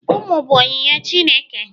ụmụ bụ onyinye Chineke